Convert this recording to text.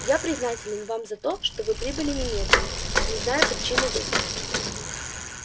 я признателен вам за то что вы прибыли немедленно не зная причины вызова